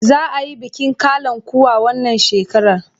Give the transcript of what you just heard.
Za a yi bikin kalankuwa wannan shekarar?